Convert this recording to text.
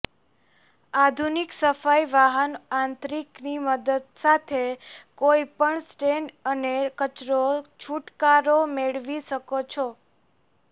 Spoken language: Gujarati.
આધુનિક સફાઈ વાહન આંતરિક ની મદદ સાથે કોઇપણ સ્ટેન અને કચરો છૂટકારો મેળવી શકો છો